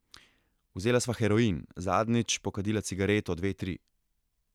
Vzela sva heroin, zadnjič, pokadila cigareto, dve, tri.